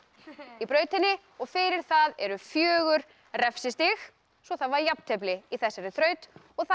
í brautinni og fyrir það eru fjórir refsistig svo það var jafntefli í þessari þraut og það